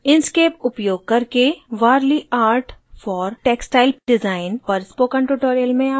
inkscape उपयोग करके warli art for textile design पर spoken tutorial में आपका स्वागत है